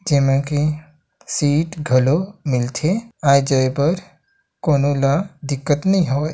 जे में के सीट घलो मिल थे आये जाये पर बर कोनो ला दिक्कत नई होवय।